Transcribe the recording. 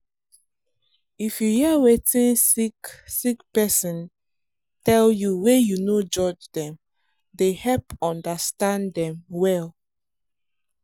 if you hear wetin sick sick person tell you wey you no judge dem dey help understand them well.